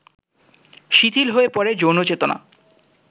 শিথিল হয়ে পড়ে যৌনচেতনা